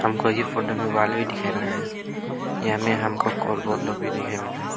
हमको ये फोटो में वॉल भी दिखाई मिल रहा है यहां में हमको लोग भी दिखाई मिल रहा है।